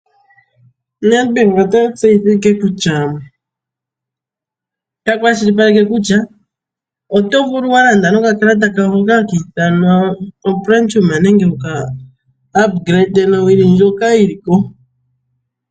Nedbank ota tseyitha ngeyi noku kwashilipaleka kutya oto vulu walanda noka kalata kayo hoka hakiithanwa Platinum nenge wuka humithe komeho nowili ndjoka yili ko.